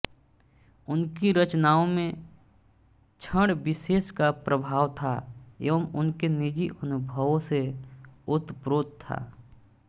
उनकी रचनाओं में क्षण विशेष का प्रभाव था एवं उनके निजी अनुभवों से ओतप्रोत था